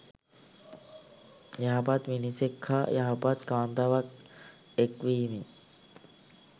යහපත් මිනිසෙක් හා යහපත් කාන්තාවක් එක් වීමෙන්